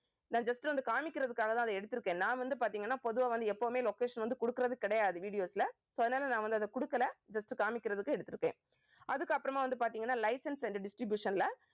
நான் just வந்து காமிக்கிறதுக்காகதான் அதை எடுத்திருக்கேன். நான் வந்து பார்த்தீங்கன்னா பொதுவா வந்து எப்பவுமே location வந்து கொடுக்கிறது கிடையாது videos ல so அதனால நான் வந்து அதை கொடுக்கல just காமிக்கிறதுக்கு எடுத்திருக்கேன். அதுக்கப்புறமா வந்து பாத்தீங்கன்னா license and distribution ல